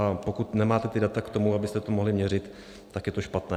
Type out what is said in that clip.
A pokud nemáte ta data k tomu, abyste to mohli měřit, tak je to špatné.